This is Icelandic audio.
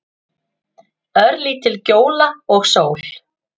Örlítil gjóla og sól.